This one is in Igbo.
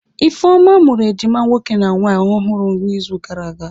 Ifeoma mụrụ ejima nwoke na nwaanyị ọhụrụ n'izu gara aga.